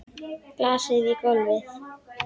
Glasið í gólfið.